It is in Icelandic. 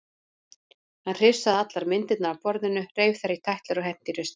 Hann hrifsaði allar myndirnar af borðinu, reif þær í tætlur og henti í ruslið.